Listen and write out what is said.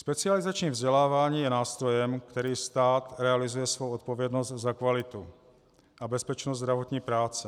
Specializační vzdělávání je nástrojem, kterým stát realizuje svou odpovědnost za kvalitu a bezpečnost zdravotní práce.